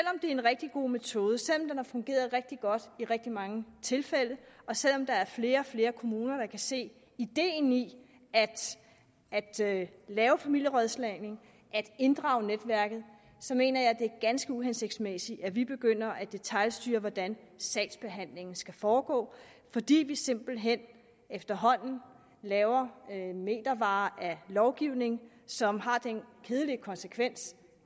en rigtig god metode selv om den har fungeret rigtig godt i rigtig mange tilfælde og selv om der er flere og flere kommuner der kan se ideen i at lave familierådslagning at inddrage netværket så mener jeg det er ganske uhensigtsmæssigt at vi begynder at detailstyre hvordan sagsbehandlingen skal foregå fordi vi simpelt hen efterhånden laver metervare af lovgivning som har den kedelige konsekvens